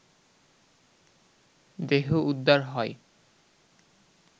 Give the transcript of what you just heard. দেহ উদ্ধার হয়